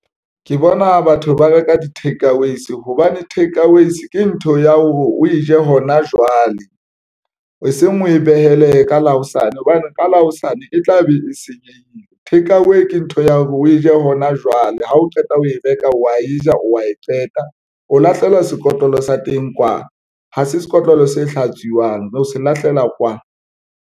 Ke bona batho ba reka di-take-aways hobane takeaways ke ntho ya hore o e je hona jwale e seng o e behele ka la hosane hobane ka la hosane e tla be e senyehile. Take-away ke ntho ya hore o e je hona jwale. Ha o qeta ho e reka, wa e ja, o wa e feta, o lahlelwa sekotlolo sa teng, kwa ha se sekotlolo se hlatsuwang, o se lahlela kwana.